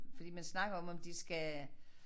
Fordi man snakker om om de skal